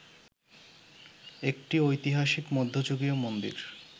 একটি ঐতিহাসিক মধ্যযুগীয় মন্দির